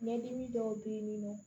Ɲɛdimi dɔw be yen nin nɔ